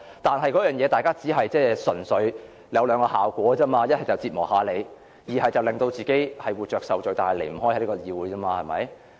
但是，這只有兩種效果，一是折磨一下議員，二是令自己活着受罪但卻離不開議會。